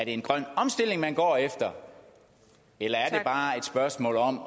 en grøn omstilling man går efter eller er det bare et spørgsmål om